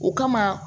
O kama